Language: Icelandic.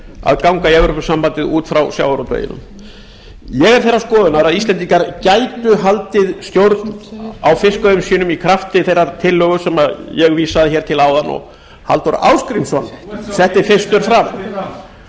að ganga í evrópusambandið út frá sjávarútveginum ég er þeirrar skoðunar að íslendingar gætu haldið stjórn á fiskveiðum sínum í krafti þeirrar tillögu sem ég vísaði hér til áðan og halldór ásgrímsson setti fyrstur